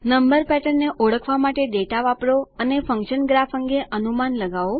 number pattern ને ઓળખવા માટે ડેટા વાપરો અને ફન્કશન ગ્રાફ અંગે અનુમાન લગાઓ